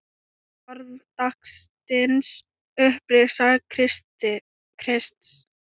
Orð dagsins Upprisa Krists